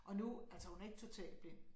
Og nu altså hun er ikke totalt blind